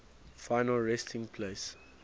final resting place